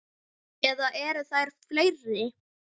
Eða eru þær fleiri?